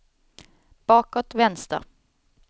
bakåt vänster